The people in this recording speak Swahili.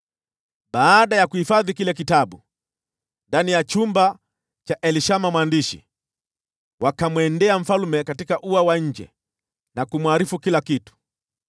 Baada ya kuhifadhi kile kitabu ndani ya chumba cha Elishama mwandishi, wakamwendea mfalme katika ua wa nje na kumwarifu kila kitu.